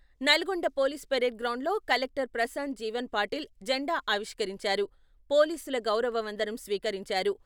Nalgonda police parade గ్రౌండ్‌లో collector Prashant Jeevan Patil జండా ఆవిష్కరించారు. పోలీసుల గౌరవ వందనం స్వీకరించారు.